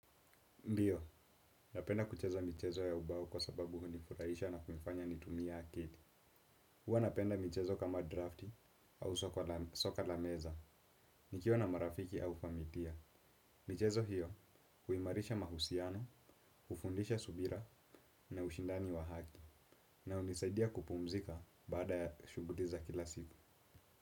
Ndiyo, napenda kucheza michezo ya ubao kwa sababu hunifuraisha na kunifanya nitumie akili. Huwa napenda michezo kama draft au soka la meza nikiwa na marafiki au familia. Michezo hiyo, huimarisha mahusiano, ufundisha subira na ushindani wa haki na unisaidia kupumzika baada ya shuguli za kila siku.